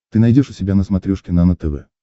ты найдешь у себя на смотрешке нано тв